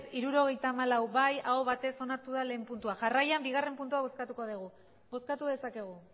hirurogeita hamalau bai aho batez onartu da lehen puntua jarraian bigarren puntua bozkatuko dugu bozkatu dezakegu